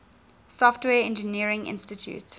software engineering institute